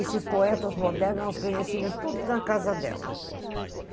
Esses poetas modernos, nós conhecíamos tudo na casa dela. Aí